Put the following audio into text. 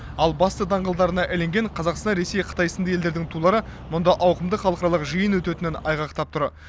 ал басты даңғылдарына ілінген қазақстан ресей қытай сынды елдердің тулары мұнда ауқымды халықаралық жиын өтетінін айғақтап тұр